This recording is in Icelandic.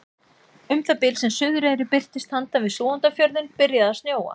Um það bil sem Suðureyri birtist handan við Súgandafjörðinn byrjaði að snjóa.